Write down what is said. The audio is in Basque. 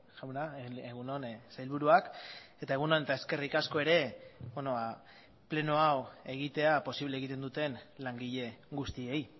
jauna egun on sailburuak eta egun on eta eskerrik asko ere pleno hau egitea posible egiten duten langile guztiei